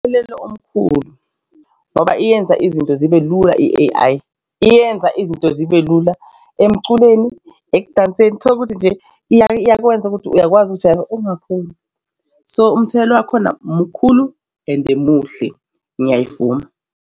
Kunomthelela omkhulu ngoba iyenza izinto zibe lula i-A_I iyenza izinto zibe lula emculweni ekudanseni. Tholukuthi nje iyakwenza ukuthi uyakwazi ukuthi ukujayiva ungakhoni. So umthelela wakhona mkhulu ende muhle ngiyayivuma.